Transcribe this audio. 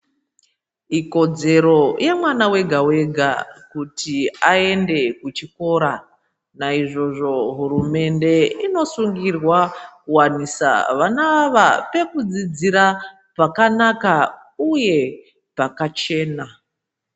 Ikodzero yemwana wega wega kuti aende kuchikora naizvozvo hurumende inosungirwa kuwanisa vana ava pekudzidzira pakanaka uye pakachena.